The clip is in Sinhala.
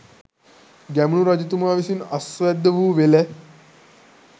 ගැමුණු රජතුමා විසින් අස්වැද්ද වූ වෙල